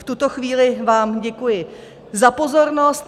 V tuto chvíli vám děkuji za pozornost.